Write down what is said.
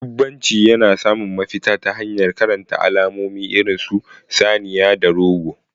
Dubbanci yana samun mafita ta hanyar karanta alamomi irin su saniya da goro.